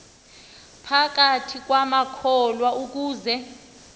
phakathi kwamakholwa ukuze